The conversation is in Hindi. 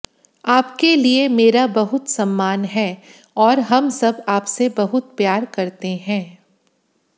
आपके लिए मेरा बहुत सम्मान है और हम सब आपसे बहुत प्यार करते हैं